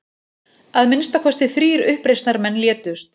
Að minnsta kosti þrír uppreisnarmenn létust